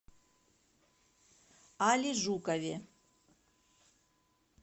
али жукове